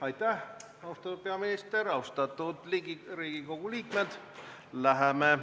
Aitäh, austatud peaminister ja austatud Riigikogu liikmed!